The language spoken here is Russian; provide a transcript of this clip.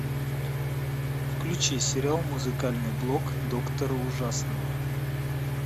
включи сериал музыкальный блог доктора ужасного